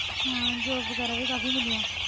ਹਾ job ਵਗੈਰਾ ਕਾਫੀ ਮਿਲਿਆ